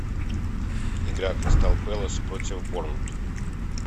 игра кристал пэлас против борнмут